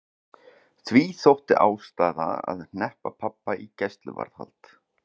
Því þótti ástæða til að hneppa pabba í gæsluvarðhald.